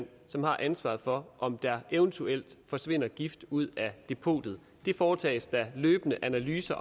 som har ansvaret for om der eventuelt forsvinder gift ud af depotet det foretages der løbende analyser